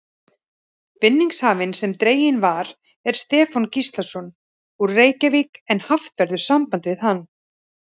Vinningshafinn sem dreginn var er Stefán Gíslason, úr Reykjavík en haft verður samband við hann.